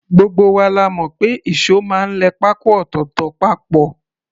Gbogbo wa la mọ̀ pé ìṣó máa ń lẹ pákó ọ̀tọ̀ọ̀tọ̀ papọ̀